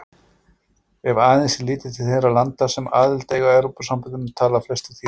Ef aðeins er litið til þeirra landa sem aðild eiga að Evrópusambandinu tala flestir þýsku.